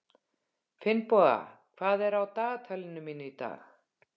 Finnboga, hvað er á dagatalinu mínu í dag?